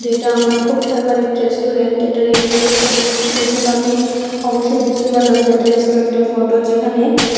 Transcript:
এটা আমার খুব ফেভারিট রেস্টুরেন্ট এটার আম্বিয়েন্সটা দেখে দেখে তো আমি অবশ্যই বুঝতে পারলাম যে এটা রেস্টুরেন্টের ফটো যেখানে--